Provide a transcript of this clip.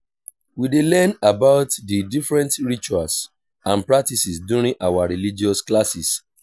we dey learn about the different rituals and practices during our religious classes.